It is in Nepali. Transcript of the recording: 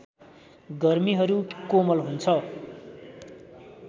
गर्मिहरू कोमल हुन्छ